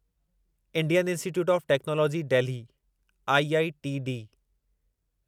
Indian institute of technology Delhi IITD